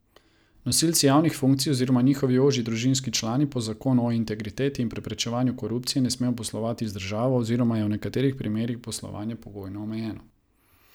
Nosilci javnih funkcij oziroma njihovi ožji družinski člani po zakonu o integriteti in preprečevanju korupcije ne smejo poslovati z državo, oziroma je v nekaterih primerih poslovanje pogojno omejeno.